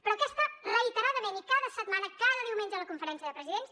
però aquesta reiteradament i cada setmana cada diumenge a la conferència de presidents